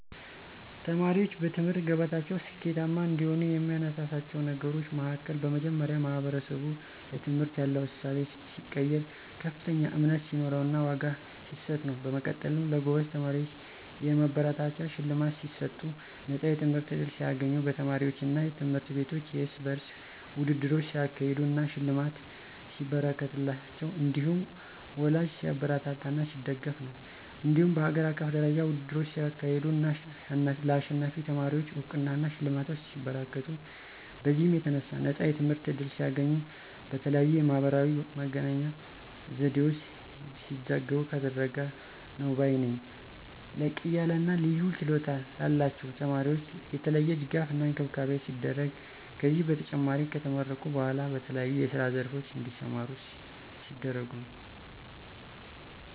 ተማሪዎችን በትምህርት ገበታቸው ስኬታማ እንዲሆኑ የሚያነሳሳቸው ነገሮች መሀከል በመጀመሪያ ማህበረሰቡ ለትምህርት ያለው እሳቤ ሲቀየር፥ ከፍተኛ እምነት ሲኖረውና ዋጋ ሲሰጥ ነው። በመቀጠልም ለጎበዝ ተማሪዎች የማበረታቻ ሽልማት ሲሰጡ፣ ነፃ የትምህርት ዕድል ሲያገኙ፣ በተማሪዎቹ አና ትምህርት ቤቶች የርስ በርስ ውድድሮች ሲያካሄዱ አና ሽልማት ሲበረከትላቸው እንዲሁም ወላጂ ሲያበረታታና ሲደግፍ ነው። እንዲሁም በሀገር አቀፍ ደረጃ ውድድሮች ሲካሄዱ አና ለአሸናፊ ተማሪወች አውቅናና ሽልማቶች ሲበረከቱ፤ በዚህም የተነሣ ነፃ የትምህርት ዕድል ሲያገኙ፣ በተለያየ የማህበራዊ መገናኛ ዘዴወች ሲዘገቡ ከተደረገ ነው ባይ ነኝ። ላቅያለና ልዩ ችሎታ ላላቸው ተማሪወች የተለየ ድጋፍና እንክብካቤ ሲደረግ፤ ከዚህም በተጨማሪ ከተመረቁ በኋላ በተለያዬ የስራ ዘርፎች እንዲሰማሩ ሲደረጉ ነው።